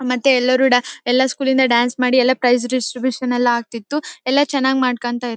ಮತ್ತೆ ಎಲ್ಲರು ಡ ಎಲ್ಲ ಸ್ಕೂಲ್ ಇಂದ ಡಾನ್ಸ್ ಮಾಡಿ ಎಲ್ಲ ಪ್ರೈಜ್ ಡಿಸ್ಟ್ರಿಬುಷನ್ ಎಲ್ಲ ಆಗ್ತಿತ್ತು ಎಲ್ಲ ಚೆನ್ನಾಗಿ ಮಾಡ್ಕೊಂಡ್ತಿರ್--